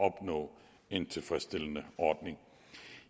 at opnå en tilfredsstillende ordning